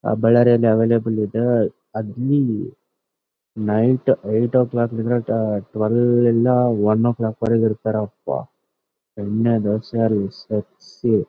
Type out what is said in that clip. ಆ ಬಳ್ಳಾರಿಯಲ್ಲಿ ಅವೈಲೆಬಲ ಇದೆ night eight o'clock minute ಟುವೆಲ್ಯಿಂದ ಒನ್ ಕ್ಲಾಕ್ ವರೆಗೆ ಇರತ್ತರೆ .]